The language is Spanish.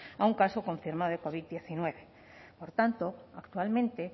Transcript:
a un caso confirmado de covid hemeretzi por tanto actualmente